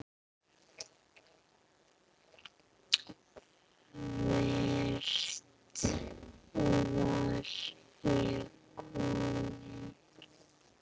Hvert var ég kominn?